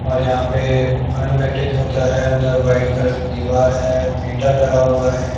और यहां पे होता है अन्दर व्हाइट कलर की दीवार है मीटर लगा हुआ है।